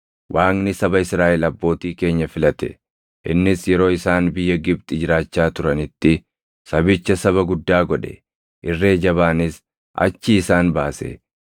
Waaqni saba Israaʼel abbootii keenya filate; innis yeroo isaan biyya Gibxi jiraachaa turanitti sabicha saba guddaa godhe; irree jabaanis achii isaan baase;